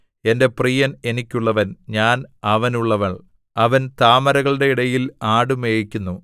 എന്റെ പ്രിയൻ എനിക്കുള്ളവൻ ഞാൻ അവനുള്ളവൾ അവൻ താമരകളുടെ ഇടയിൽ ആടുമേയ്ക്കുന്നു